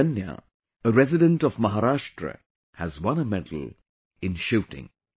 Abhidanya, a resident of Maharashtra, has won a medal in Shooting